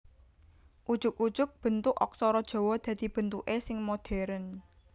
Ujug ujug bentuk aksara Jawa dadi bentuké sing modhèrn